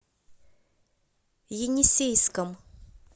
енисейском